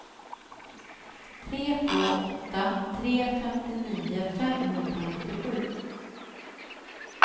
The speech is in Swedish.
tre två åtta tre femtionio femhundranittiosju